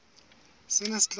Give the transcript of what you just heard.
sena se tla ba le